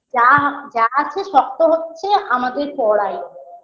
যা যা আছে শক্ত হচ্ছে আমাদের পড়াই